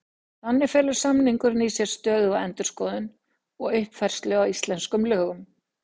Þannig felur samningurinn í sér stöðuga endurskoðun og uppfærslu á íslenskum lögum.